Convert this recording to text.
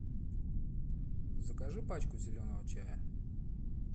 закажи пачку зеленого чая